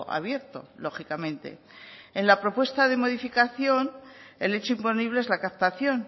abierto lógicamente en la propuesta de modificación el hecho imponible es la captación